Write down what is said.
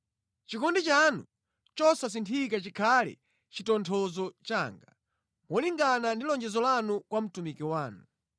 Chikondi chanu chosasinthika chikhale chitonthozo changa, molingana ndi lonjezo lanu kwa mtumiki wanu.